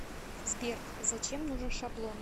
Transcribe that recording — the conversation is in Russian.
сбер зачем нужен шаблон